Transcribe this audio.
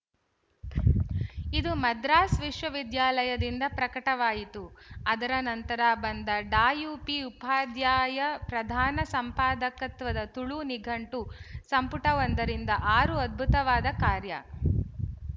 ಇದು ಮದ್ರಾಸ್ ವಿಶ್ವವಿದ್ಯಾಲಯದಿಂದ ಪ್ರಕಟವಾಯಿತು ಅದರ ನಂತರ ಬಂದ ಡಾಯುಪಿಉಪಾಧ್ಯಾಯ ಪ್ರಧಾನ ಸಂಪಾದಕತ್ವದ ತುಳು ನಿಘಂಟು ಸಂಪುಟ ಒಂದರಿಂದ ಆರು ಅದ್ಭುತವಾದ ಕಾರ್ಯ